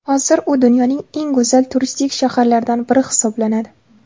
Hozir u dunyoning eng go‘zal turistik shaharlaridan biri hisoblanadi.